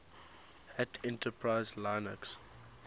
hat enterprise linux